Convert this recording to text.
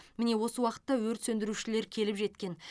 міне осы уақытта өрт сөндірушілер келіп жеткен